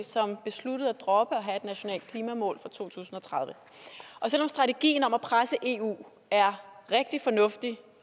som besluttede at droppe at have et nationalt klimamål for to tusind og tredive selv om strategien om at presse eu er rigtig fornuftig